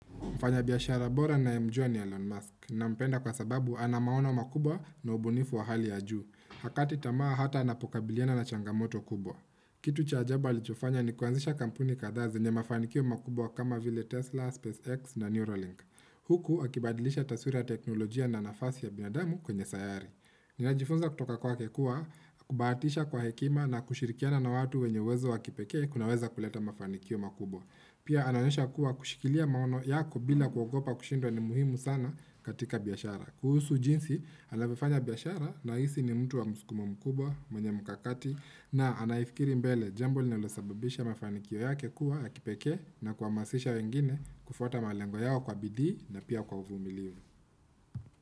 Mfanyabiashara bora ninayemjua ni Elon Musk nampenda kwa sababu anamaona wa makubwa na ubunifu wa hali ya juu. Hakati tamaa hata anapokabiliana na changamoto kubwa. Kitu cha ajabu lichofanya ni kuanzisha kampuni kadhazi nye mafanikio makubwa kama vile Tesla, SpaceX na Neuralink. Huku akibadilisha taswira ya teknolojia na nafasi ya binadamu kwenye sayari. Ninajifunza kutoka kwake kua, kubahatisha kwa hekima na kushirikiana na watu wenye uwezo wakipeke kunaweza kuleta mafanikio makubwa. Pia anaoosha kuwa kushikilia maono yako bila kuogopa kushindwa ni muhimu sana katika biashara. Kuhusu jinsi anavyo fanya biashara nahisi ni mtu wa muskumo mkubwa, mwenye mkakati, na anayifikiri mbele jambo linalosababisha mafanikio yake kuwa ya kipeke na kuamasisha wengine kufuata malengo yao kwa bidii na pia kwa uvumiliu.